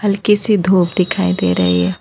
हल्की सी धूप दिखाई दे रही है।